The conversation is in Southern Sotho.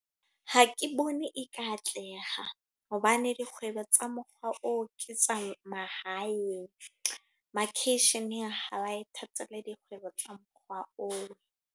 Ha ke bone e ka atleha. Hobane dikgwebo tsa mokgwa oo ke tsa mahaeng. Makeisheneng ha ba e dikgwebo tsa mokgwa oo.